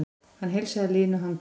Hann heilsaði linu handtaki.